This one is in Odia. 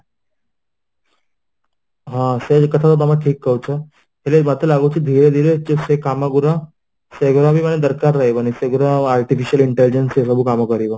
ହଁ ସେକଥା ତ ତମେ ଠିକ କହୁଛ ହେଲେ ମତେ ଲାଗୁଛି ଧୀରେ ଧୀରେ ଯେ ସେକାମ ଗୁଡା ସେଗୁରାବି ଦରକାର ରହିବନି ସେଗୁଡ଼ା artificial intelligent ହେବାକୁ କାମ କରିବ